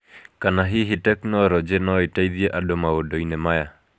ana hihi tekinoronjĩ no ĩteithie andũ maũndũ-inĩ maya.